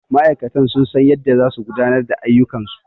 Ma'aikatan sun san yadda za su gudanar da ayyukan su